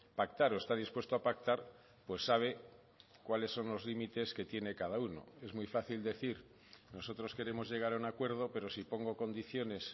pactar o está dispuesto a pactar pues sabe cuáles son los límites que tiene cada uno es muy fácil decir nosotros queremos llegar a un acuerdo pero si pongo condiciones